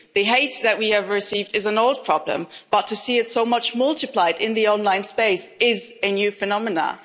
facing the hate that we have received is an old problem but to see it so much multiplied in the online space is a new phenomenon.